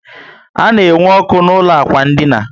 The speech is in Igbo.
A na enwe ọkụ na ụlọ ákwà dina